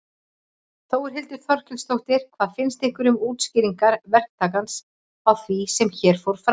Þórhildur Þorkelsdóttir: Hvað finnst ykkur um útskýringar verktakans á því sem hér fór fram?